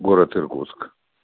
город иркутск